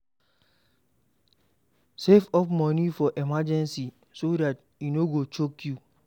Save up money for emergency so dat e no go choke you